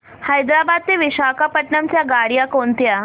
हैदराबाद ते विशाखापट्ण्णम च्या गाड्या कोणत्या